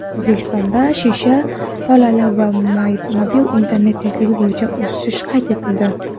O‘zbekistonda shisha tolali va mobil internet tezligi bo‘yicha o‘sish qayd etildi.